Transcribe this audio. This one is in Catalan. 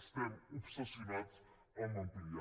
estem obsessionats a ampliar